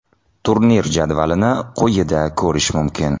Turnir jadvalini quyida ko‘rish mumkin.